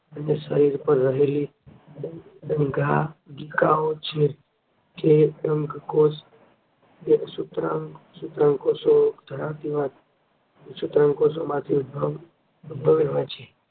અને શરીર પર રહેલી ડેમાંગિકાઓ છે. જે ડંખકોશ કે સૂત્રોંગ કોર્પો ધરાવતી માંથી ઉદ્ભવેલ હોય છે.